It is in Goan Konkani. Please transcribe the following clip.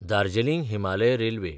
दार्जलिंग हिमालय रेल्वे